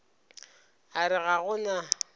a re ga go na